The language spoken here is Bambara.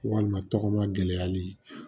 Walima tɔgɔma gɛlɛyali